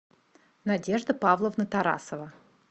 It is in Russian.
надежда павловна тарасова